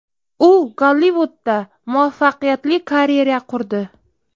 U Gollivudda muvaffaqiyatli karyera qurdi.